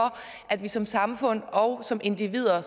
at vi som samfund og som individer